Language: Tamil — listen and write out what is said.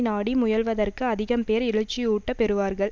நாடி முயல்வதற்கு அதிகம் பேர் எழுச்சி ஊட்டப் பெறுவார்கள்